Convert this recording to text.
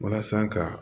Walasa ka